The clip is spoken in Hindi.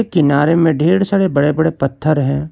किनारे में ढेर सारे बड़े बड़े पत्थर हैं।